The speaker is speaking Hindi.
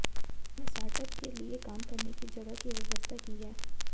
इसमें स्टार्टअप के लिए काम करने की जगह की व्यवस्था की है